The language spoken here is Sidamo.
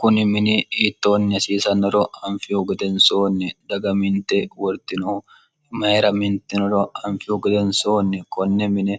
kuni mini itooniya hasiisannoro anfihu godensoonni daga minte wortinohu imayira mintinoro anfihu godensoonni konne mine